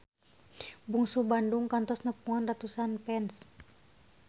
Bungsu Bandung kantos nepungan ratusan fans